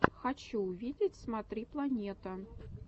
хочу увидеть смотри планета